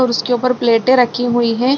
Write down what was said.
और उसके ऊपर प्लेटे रखी हुई है |